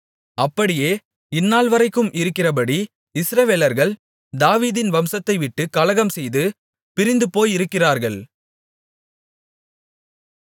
அப்படியே இந்நாள்வரைக்கும் இருக்கிறபடி இஸ்ரவேலர்கள் தாவீதின் வம்சத்தைவிட்டுக் கலகம்செய்து பிரிந்துபோயிருக்கிறார்கள்